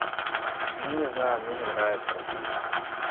ну не знаю мне не нравится расти